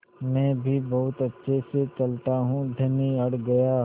मैं भी बहुत अच्छे से चलता हूँ धनी भी अड़ गया